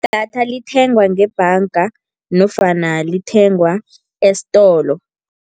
Idatha lithengwa ngebhanga nofana lithengwa esitolo.